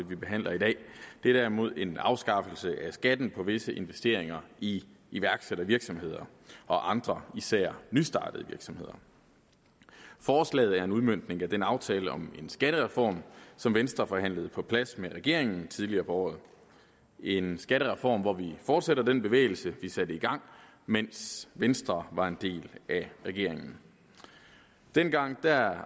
vi behandler i dag det er derimod en afskaffelse af skatten på visse investeringer i iværksættervirksomheder og andre især nystartede virksomheder forslaget er en udmøntning af den aftale om en skattereform som venstre forhandlede på plads med regeringen tidligere på året en skattereform hvor vi fortsætter den bevægelse vi satte i gang mens venstre var en del af regeringen dengang